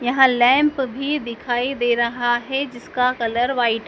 यहां लैंप भी दिखाई दे रहा है जिसका कलर व्हाइट --